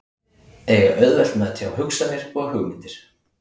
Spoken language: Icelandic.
Eiga auðvelt með að tjá hugsanir og hugmyndir.